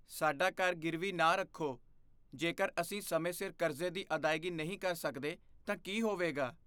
ਸਾਡਾ ਘਰ ਗਿਰਵੀ ਨਾ ਰੱਖੋ। ਜੇਕਰ ਅਸੀਂ ਸਮੇਂ ਸਿਰ ਕਰਜ਼ੇ ਦੀ ਅਦਾਇਗੀ ਨਹੀਂ ਕਰ ਸਕਦੇ ਤਾਂ ਕੀ ਹੋਵੇਗਾ?